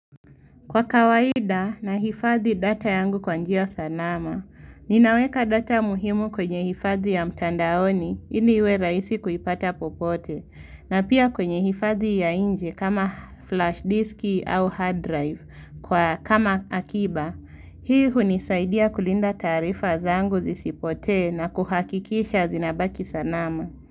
Kwa kawaida nahifadhi data yangu kwa njia sanaha ninaweka data muhimu kwenye hifadhi ya mtandaoni ili iwe raisi kuipata popote na pia kwenye hifadhi ya nje kama flash diski au hard drive kwa kama akiba hii hunisaidia kulinda taarifa zangu zisipotee na kuhakikisha zinabaki salama.